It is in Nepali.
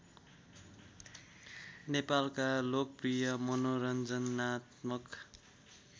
नेपालका लोकप्रिय मनोरञ्जनात्मक